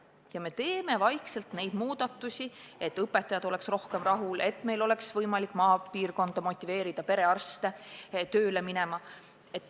Ja me teemegi vaikselt neid muudatusi, et õpetajad oleks rohkem rahul ja et meil oleks võimalik motiveerida perearste ka maapiirkonda tööle minema.